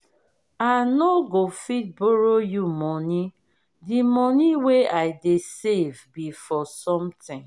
i no go fit borrow you money the money wey i dey save be for something